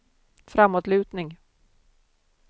framåtlutning